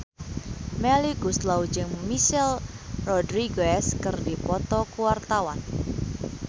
Melly Goeslaw jeung Michelle Rodriguez keur dipoto ku wartawan